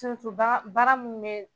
Baara baara min bɛ yen bi